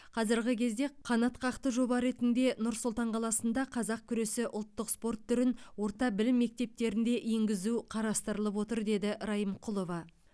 қазіргі кезде қанатқақты жоба ретінде нұр сұлтан қаласында қазақ күресі ұлттық спорт түрін орта білім мектептерінде енгізу қарастырылып отыр деді райымқұлова